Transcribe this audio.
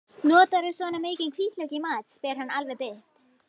Notarðu svona mikinn hvítlauk í mat, spyr hann alveg bit.